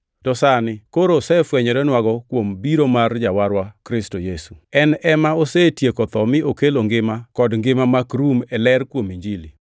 to sani koro osefwenynwago kuom biro mar Jawarwa, Kristo Yesu. En ema osetieko tho mi okelo ngima kod ngima mak rum e ler kuom Injili.